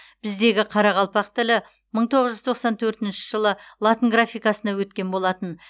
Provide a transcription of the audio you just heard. біздегі қарақалпақ тілі мың тоғыз жүз тоқсан төртінші жылы латын графикасына өткен болатын